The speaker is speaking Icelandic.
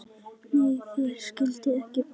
Nei, þeir skildu ekki baun.